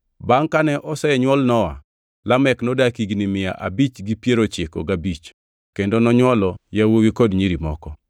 Bangʼ kane osenywol Nowa, Lamek nodak higni mia abich gi piero ochiko gi abich kendo nonywolo yawuowi kod nyiri moko.